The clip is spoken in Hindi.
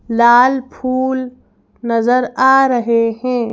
लाल फूल नजर आ रहे हैं।